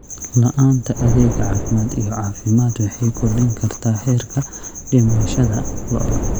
La'aanta adeeg caafimaad iyo caafimaad waxay kordhin kartaa heerka dhimashada lo'da.